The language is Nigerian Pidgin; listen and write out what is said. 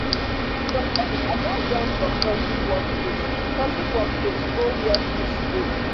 sometimes i gats run from toxic work place toxic work place go where peace dey.